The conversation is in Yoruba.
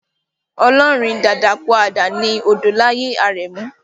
Olórin Dakakúàdà ni Odolaye Arẹmu.